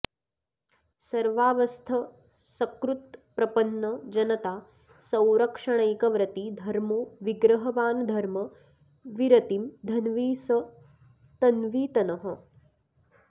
सर्वावस्थ सकृत्प्रपन्न जनता संरक्षणैक व्रती धर्मो विग्रहवानधर्म विरतिं धन्वी स तन्वीत नः